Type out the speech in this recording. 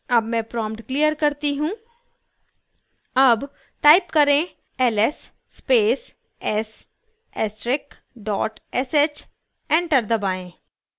अब मैं prompt clear करती हूँ अब type करें ls space s asterisk dot sh enter दबाएं